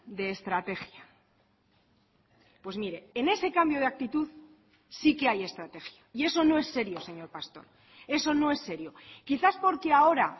de estrategia pues mire en ese cambio de actitud sí que hay estrategia y eso no es serio señor pastor eso no es serio quizás porque ahora